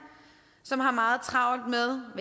som har meget travlt med